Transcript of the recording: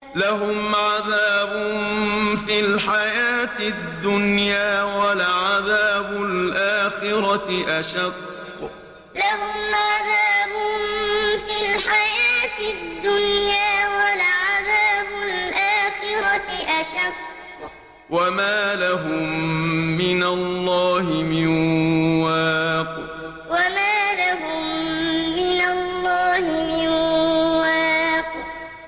لَّهُمْ عَذَابٌ فِي الْحَيَاةِ الدُّنْيَا ۖ وَلَعَذَابُ الْآخِرَةِ أَشَقُّ ۖ وَمَا لَهُم مِّنَ اللَّهِ مِن وَاقٍ لَّهُمْ عَذَابٌ فِي الْحَيَاةِ الدُّنْيَا ۖ وَلَعَذَابُ الْآخِرَةِ أَشَقُّ ۖ وَمَا لَهُم مِّنَ اللَّهِ مِن وَاقٍ